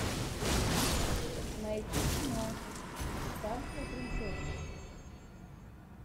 найти кино испанская принцесса